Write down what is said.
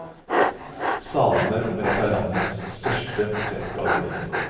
Salene rommer et av landets største portrettgallerier.